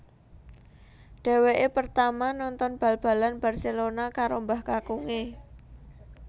Dhèwèkè pertama nonton bal balan Barcelona karo mbah kakungè